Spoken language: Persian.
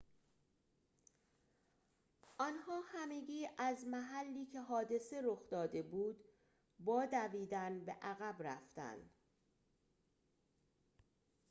آنها همگی از محلی که حادثه رخ داده بود با دویدن به عقب رفتند